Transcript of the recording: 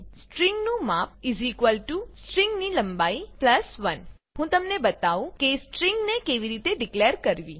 string નું માપ string ની લંબાઈ 1 હું તમને બતાઉં કે સ્ટ્રિંગ ને કેવી રીતે ડીકલેર કરવી